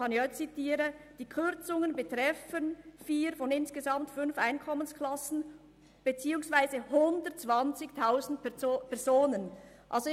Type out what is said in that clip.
In der Mitteilung steht, die Kürzungen würden vier von insgesamt fünf Einkommensklassen beziehungsweise 120 000 Personen betreffen.